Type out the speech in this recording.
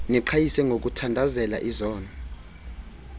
niqhayise ngokuthandazela izono